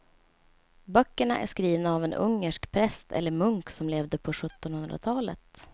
Böckerna är skrivna av en ungersk präst eller munk som levde på sjuttonhundratalet.